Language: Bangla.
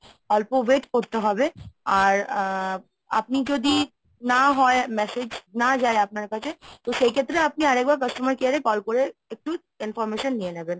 অল্প wait করতে হবে আর আ আপনি যদি না হয় message না যায় আপনার কাছে তো সেই ক্ষেত্রে আপনি আরেকবার customer care এ call করে একটু information নিয়ে নেবেন।